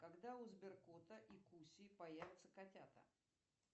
когда у сберкота и куси появятся котята